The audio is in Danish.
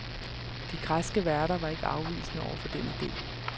De græske værter var ikke afvisende over for den idé.